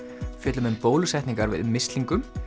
fjöllum um bólusetningar við mislingum